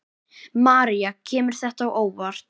María: Kemur þetta á óvart?